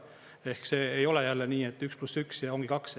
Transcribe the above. Ehk see ei ole jälle nii, et üks pluss üks ja ongi kaks.